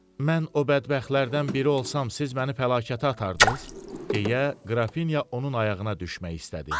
Mən o bədbəxtlərdən biri olsam siz məni fəlakətə atardız, deyə qrafinya onun ayağına düşmək istədi.